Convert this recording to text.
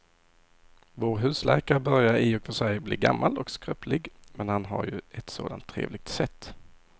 Vår husläkare börjar i och för sig bli gammal och skröplig, men han har ju ett sådant trevligt sätt!